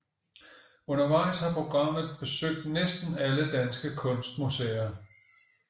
Undervejs har pogramet besøgt næsten alle danske kunstmuseer